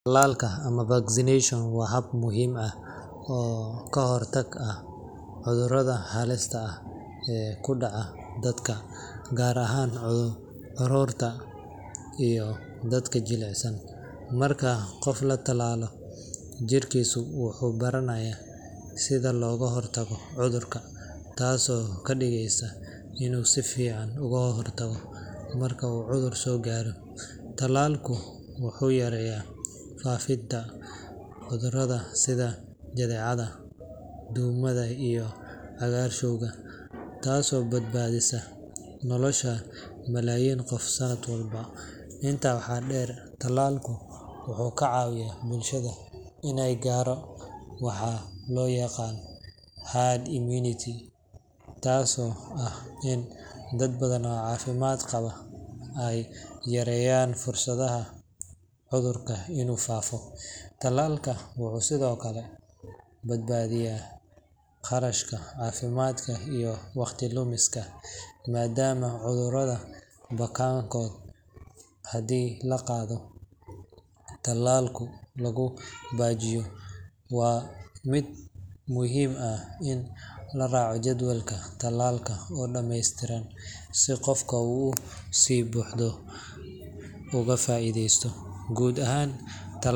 Talaka ama vaccination waa hab muhim ah oo kahortag ah cudurada halista ah ee kudaca dadka gar ahan carurta iyoh dadka jilacsan, marka qoof latalalo jirkisa wuxu baranayah sidha loga hortago cudurkan tasi oo kadigeysa inu sifican oga hortago marku cudur sogaro talalku wuxu yareyah fafida cudurada sidaa jadecada, dowmada iyo cagarshowga tasi oo bad badisa nolosha malayin qoof sanad walba, inta waxa der talalku wuxu kacawiyah bulshada ina garo waxa loyaqano hard immunity, tasi oo ah ini dad badhan oo cafimad qabaa aay yareyan fursadaha cudurka inu fafo, talalka wuxu sidiokale badbadiyah qarashka cafimadka iyoh waqti lumiska madam oo cudurada bakankoda hadi laqadho talaku lagu bajiyo waa mid muhim ah ini laraco jadwalka talalka oo dameystiran sii qofka oo usibuxdo ugafaideyso gud ahan talal.